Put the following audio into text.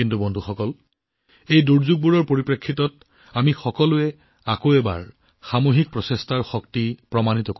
কিন্তু বন্ধুসকল এই দুৰ্যোগৰ মাজতো আমি সকলো দেশবাসী পুনৰ দেখুৱাই দিলো যে সামূহিক প্ৰচেষ্টাৰ শক্তি কিমান